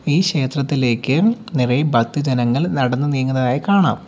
ഈ ക്ഷേത്രത്തിലേക്ക് നിറയെ ഭക്ത ജനങ്ങൾ നടന്നു നീങ്ങുന്നതായി കാണാം.